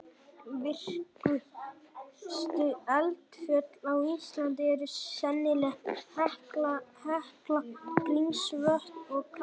Virkustu eldfjöll á Íslandi eru sennilega Hekla, Grímsvötn og Katla.